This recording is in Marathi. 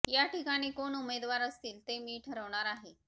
या ठिकाणी कोण उमेदवार असतील ते मी ठरवणार आहे